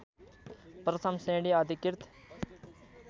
प्रथम श्रेणी अधिकृत